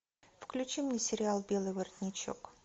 включи мне сериал белый воротничок